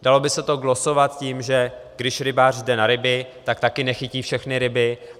Dalo by se to glosovat tím, že když rybář jde na ryby, tak také nechytí všechny ryby.